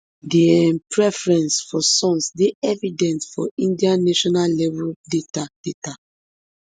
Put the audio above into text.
di um preference for sons dey evident for india nationallevel data data